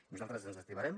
nosaltres ens activarem